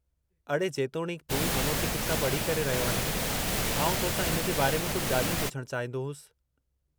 अडे़, जेतोणीकि तूं मनोचिकित्सा पढ़ी करे रहियो आहीं, आउं तोसां हिन जे बारे में कुझु ॻाल्हियूं पुछणु चाहींदो होसि।